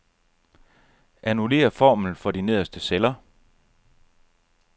Annullér formlen for de nederste celler.